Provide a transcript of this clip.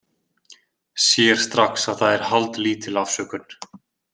Sér strax að það er haldlítil afsökun.